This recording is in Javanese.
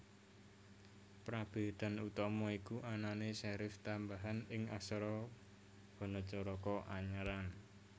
Prabédan utama iku anané serif tambahan ing aksara Hanacaraka Anyaran